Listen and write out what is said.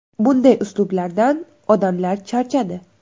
Bunday uslublardan odamlar charchadi.